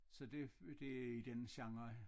Så det det i den genre